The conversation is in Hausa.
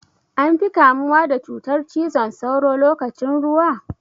An fi kamuwa da cutar cizon sauro lokacin ruwa?